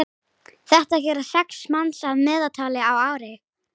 þetta gera sex manns að meðaltali á ári